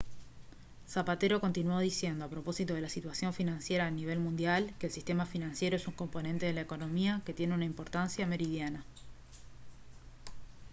zapatero continuó diciendo a propósito de la situación financiera a nivel mundial que «el sistema financiero es un componente de la economía que tiene una importancia meridiana